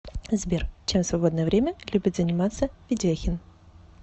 сбер чем в свободное время любит заниматься ведяхин